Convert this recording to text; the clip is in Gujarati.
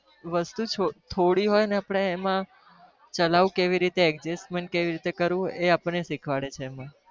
વસ્તુ થોડી હોય ને આપણે એમાં ચલાવું કઈ રીતે adjusment કઈ રીતે કરવું એ આપણને શીખવાડે છે.